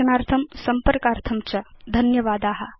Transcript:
दर्शनार्थं संपर्कार्थं च धन्यवादा